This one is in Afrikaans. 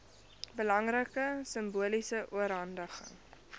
belangrike simboliese oorhandiging